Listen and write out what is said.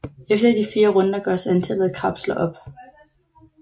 Efter de 4 runder gøres antallet af kapsler op